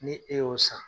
Ni e y'o san